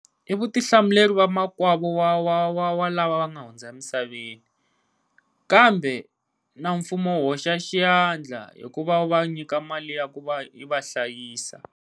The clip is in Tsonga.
I vutihlamuleri va makwavu wa wa wa wa lava va nga hundza misaveni, kambe na mfumo wu hoxa xiandla hikuva u va nyika mali ya ku va i va hlayisa.